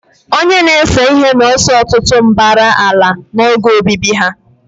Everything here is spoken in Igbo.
Onye na-ese ihe na-ese ọtụtụ mbara ala n'oge obibi ha.